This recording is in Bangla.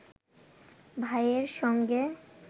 ভাইয়ের সঙ্গে